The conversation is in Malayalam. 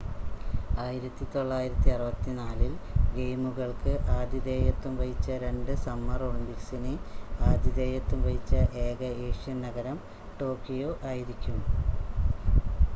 1964 ൽ ഗെയിമുകൾക്ക് ആതിഥേയത്വം വഹിച്ച 2 സമ്മർ ഒളിമ്പിക്സിന് ആതിഥേയത്വം വഹിച്ച ഏക ഏഷ്യൻ നഗരം ടോക്കിയോ ആയിരിക്കും